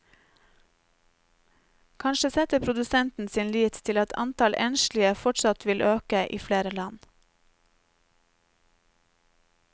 Kanskje setter produsenten sin lit til at antall enslige fortsatt vil øke i flere land.